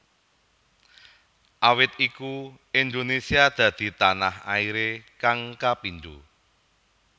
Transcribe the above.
Awit iku Indonesia dadi tanah airé kang kapindo